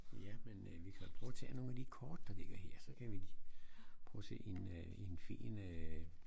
Ja men øh vi kan da prøve at tage nogle af de kort der ligger her så kan vi prøve at se en øh en fin øh